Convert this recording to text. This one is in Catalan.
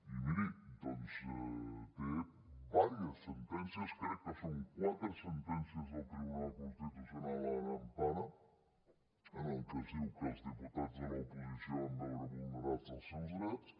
i miri doncs té diverses sentències crec que són quatre sentències del tribunal constitucional en empara en les que es diu que els diputats de l’oposició van veure vulnerats els seus drets